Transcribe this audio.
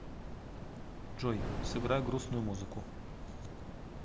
джой сыграй грустную музыку